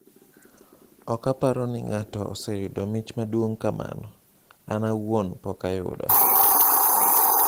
"Ok aparo ni ng'ato oseyudo mich maduong' kamano, an awuon pok ayudo".